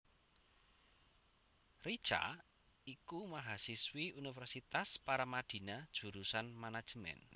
Richa iku mahasiswi Universitas Paramadina jurusan Manajemen